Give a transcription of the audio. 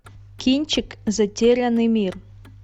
кинчик затерянный мир